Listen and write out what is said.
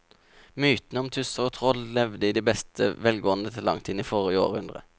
Mytene om tusser og troll levde i beste velgående til langt inn i forrige århundre.